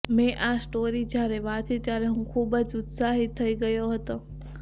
મેં આ સ્ટોરી જ્યારે વાંચી ત્યારે હું ખૂબ જ ઉત્સાહિત થઈ ગયો હતો